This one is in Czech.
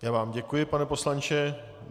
Já vám děkuji, pane poslanče.